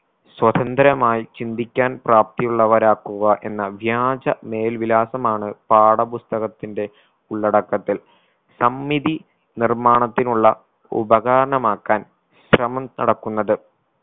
സ്വാതന്ത്ര്യമായി ചിന്തിക്കാൻ പ്രാപ്തിയുള്ളവരാക്കുക എന്ന വ്യാജ മേൽവിലാസമാണ് പാഠപുസ്തകത്തിന്റെ ഉള്ളടക്കത്തിൽ സമ്മിതി നിർമാണത്തിനുള്ള ഉപകാരണമാക്കാൻ ശ്രമം നടക്കുന്നത്